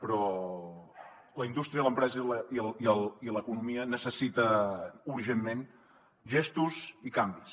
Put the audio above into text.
però la indústria l’empresa i l’economia necessiten urgentment gestos i canvis